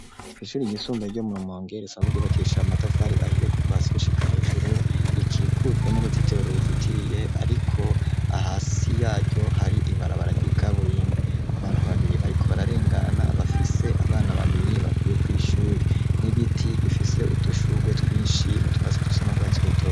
Kw'ishuri igisumbaye ryo murumongere sanze ryubakisha matafari ahiye kuva siushika hejuru rikikujwe n'urutsitero rurizitiriye, ariko ahasi yaryo hari ibara bara ryikaburimpi abantu babiri bariko bararengana bafise abana babiri bapuye kw'ishuri n'igiti gifise utushurwe twinshi nutwatsi dusa n'urwatsi ruto.